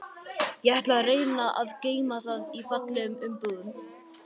Ég ætla að reyna að geyma það í fallegum umbúðum.